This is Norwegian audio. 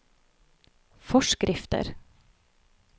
forskrifter